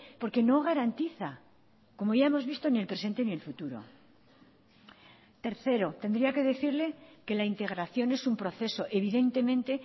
porque no garantiza como ya hemos visto ni el presente en el futuro tercero tendría que decirle que la integración es un proceso evidentemente